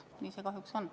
Nii see kahjuks on.